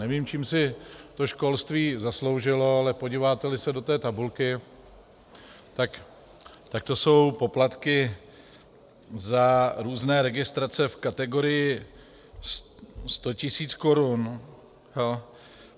Nevím, čím si to školství zasloužilo, ale podíváte-li se do té tabulky, tak to jsou poplatky za různé registrace v kategorii 100 tisíc korun.